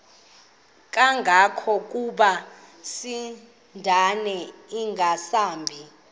kangangokuba isindane ingasahambi